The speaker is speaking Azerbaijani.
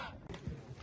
Rusiya!